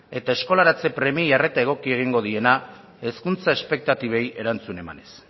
eta eskolaratze premiei arreta egokia egingo diena hezkuntza espektatibeei erantzun emanez